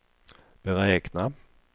beräkna